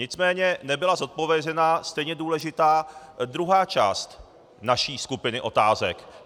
Nicméně nebyla zodpovězena stejně důležitá druhá část naší skupiny otázek.